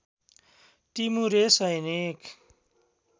टिमुरे सैनिक